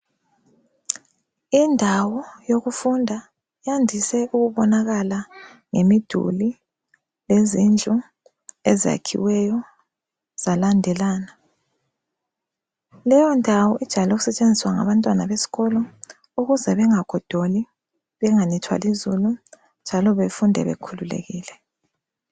Indawo yokufunda yandise ukubonakala ngemiduli lezindlu ezakhiweyo zalandelana leyo ndawo ijayele ukutshenziswa ngabantwana besikolo ukuze bengagodoli , benganethwa lizulu njalo befunde bekhululekile.